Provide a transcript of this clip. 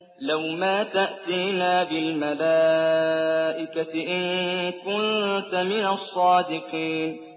لَّوْ مَا تَأْتِينَا بِالْمَلَائِكَةِ إِن كُنتَ مِنَ الصَّادِقِينَ